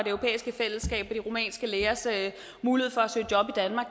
europæiske fællesskab for de rumænske lægers mulighed for